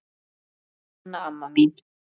Elsku Anna amma mín.